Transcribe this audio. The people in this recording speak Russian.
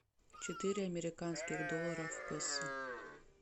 четыре американских доллара в песо